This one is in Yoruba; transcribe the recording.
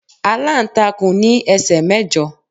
Aláǹtakùn ní ẹsẹ̀ mẹ́jọ